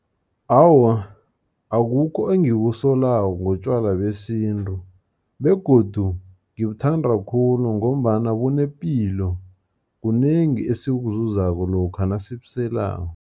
Awa, akukho engikusolako ngotjwala besintru, begodu ngibuthanda khulu, ngombana bunepilo, kunengi esikuzuzako lokha nasibuselako.